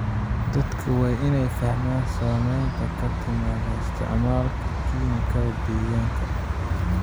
Dadka waa in ay fahmaan saamaynta ka timaadda isticmaalka kiimikada deegaanka.